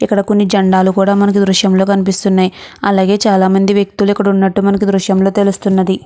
ఇక్కడ కొన్ని జెండాలు కూడా మనకు దృశ్యంలో కనిపిస్తున్నాయి. అలాగే చాలామంది వ్యక్తులు ఇక్కడ ఉన్నట్టు మనకు దృశ్యంలో తెలుస్తుంది.